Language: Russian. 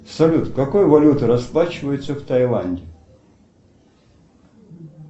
салют какой валютой расплачиваются в тайланде